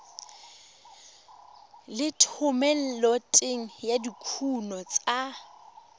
le thomeloteng ya dikuno tsa